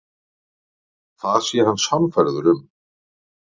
Það sé hann sannfærður um.